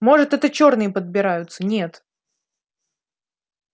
может это чёрные подбираются нет